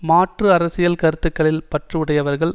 மாற்று அரசியல் கருத்துக்களில் பற்று உடையவர்கள்